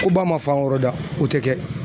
Ko ba ma fan wɛrɛw da o tɛ kɛ